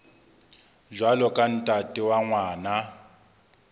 jwalo ka ntate wa ngwana